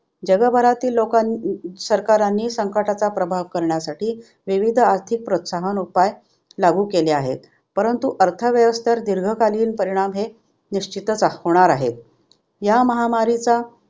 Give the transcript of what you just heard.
जगभरातील लोकां सरकारांनी संकटाचा प्रभाव करण्यासाठी विविध आर्थिक प्रोत्साहन उपाय लागू केले आहेत. परंतु अर्थव्यवस्थेवर दीर्घकालीन परिणाम हे निश्चितच होणार आहेत. या महामारीचा